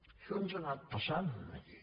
això ens ha anat passant aquí